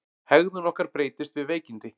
Hegðun okkar breytist við veikindi.